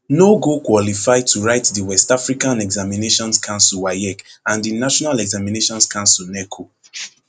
no go qualify to write di west african examinations council waec and di national examinations council neco